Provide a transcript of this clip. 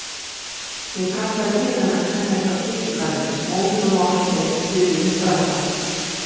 Ég kallaði til hennar hjá kirkjugarðinum, móður og másandi eftir puðið upp brattann.